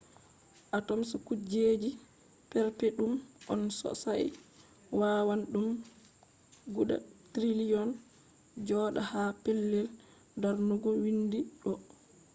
atoms kujeji perpetum on sosai wawan ɗum guda triliyon joɗa ha pellel darnugo windi ɗo